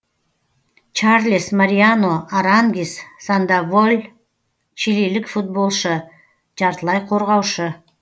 чарлес мариано арангис сандоволь чилилік футболшы жартылай қорғаушы